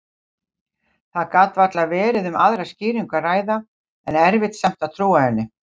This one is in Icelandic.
Það gat varla verið um aðra skýringu að ræða, en erfitt samt að trúa henni.